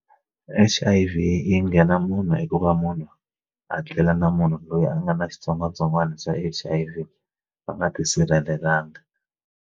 H_I_V yi nghena munhu i ku va munhu a tlela na munhu loyi a nga na xitsongwatsongwana xa H_I_V va nga tisirhelelanga.